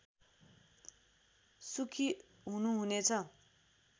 सुखी हुनु हुनेछ